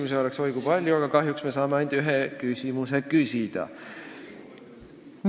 Küsimusi oleks oi kui palju, aga kahjuks saame ainult ühe küsimuse küsida.